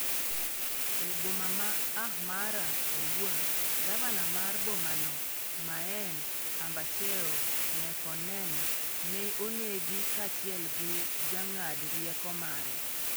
E boma ma Ahmara owuon, gavana mar bomano maen Ambachew Mekonnen ne onegi kaachiel gi jang'ad rieko mare.